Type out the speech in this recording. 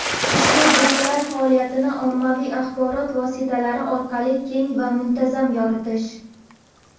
ushbu guruhlar faoliyatini ommaviy axborot vositalari orqali keng va muntazam yoritish;.